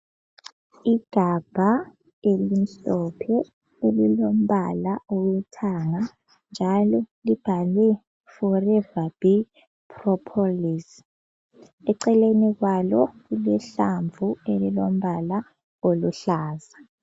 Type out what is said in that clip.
Igabha elimhlophe elilombala owethanga njalo libhalwe 'forever bee propolis' eceleni kwalo kulehlamvu elilombala oluhlaza.